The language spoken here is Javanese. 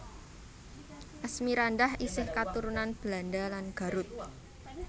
Asmirandah isih katurunan Belanda lan Garut